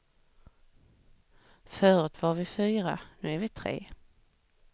Förut var vi fyra nu är vi tre.